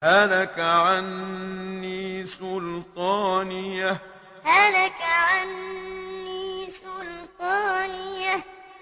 هَلَكَ عَنِّي سُلْطَانِيَهْ هَلَكَ عَنِّي سُلْطَانِيَهْ